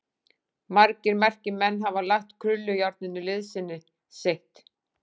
Margir merkir menn hafa lagt krullujárninu liðsinni sitt.